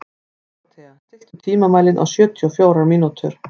Dórothea, stilltu tímamælinn á sjötíu og fjórar mínútur.